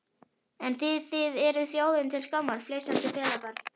En þið þið eruð þjóðinni til skammar, flissandi pelabörn.